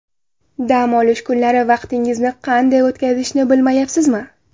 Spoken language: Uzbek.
Dam olish kunlari vaqtingizni qanday o‘tkazishni bilmayapsizmi?